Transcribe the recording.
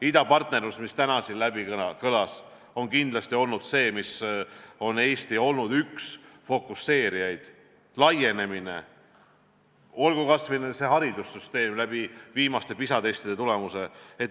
Idapartnerlus, mida täna siin mainiti, on kindlasti olnud see, kus Eesti on olnud üks fookustajaid, samuti laienemine ja kas või haridussüsteem, arvestades viimaste PISA-testide tulemusi.